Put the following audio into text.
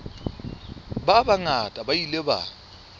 ba bangata ba ile ba